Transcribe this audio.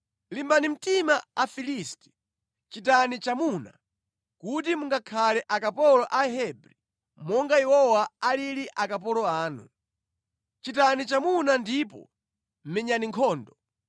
Limbani mtima Afilisti! Chitani chamuna, kuti mungakhale akapolo a Ahebri monga iwowa alili akapolo anu. Chitani chamuna ndipo menyani nkhondo!’ ”